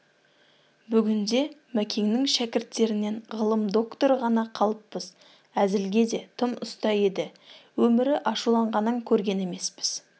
бүгінде мәкеңнің шәкірттерінен ғылым докторы ғана қалыппыз әзілге де тым ұста еді өмірі ашуланғанын көрген емеспіз